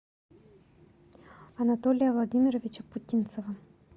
анатолия владимировича путинцева